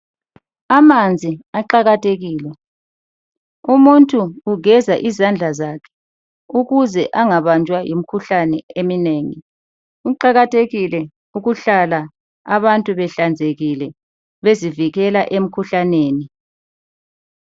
Amanzi aqakathekile. Umuntu ugeza izandla zakhe ukuze angabanjwa yimikhuhlane eminengi. Kuqakathikile ukuhlala abantu behlanzekile bezivikela emkhuhlaneni.